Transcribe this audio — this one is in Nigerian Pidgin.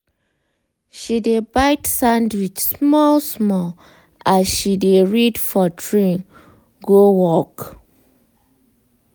she dey bite sandwich small small as she dey read for train go work.